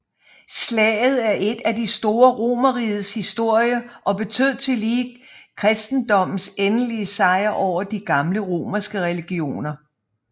Slaget er et af de store i Romerrigets historie og betød tillige kristendommens endelige sejr over de gamle romerske religioner